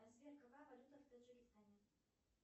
сбер какая валюта в таджикистане